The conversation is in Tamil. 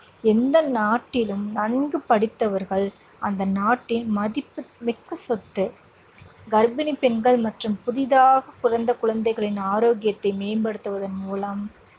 எந்த நாட்டிலும் நன்கு படித்தவர்கள் அந்த நாட்டின் மதிப்புமிக்க சொத்து. கர்ப்பிணி பெண்கள் மற்றும் புதிதாகப் பிறந்த குழந்தைகளின் ஆரோக்கியத்தை மேம்படுத்துவதன் மூலம்